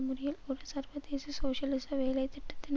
முறையில் ஒரு சர்வதேச சோசியலிச வேலை திட்டத்தின்